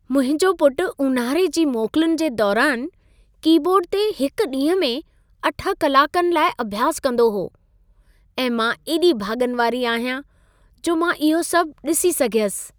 मुंहिंजो पुटु ऊन्हारे जी मोकलुनि जे दौरान कीबोर्ड ते हिकु ॾींहं में 8 कलाकनि लाइ अभ्यास कंदो हो ऐं मां एॾी भाॻनि वारी आहियां, जो मां इहो सभु ॾिसी सघियसि।